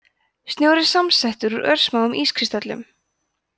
snjór er samsettur úr örsmáum ískristöllum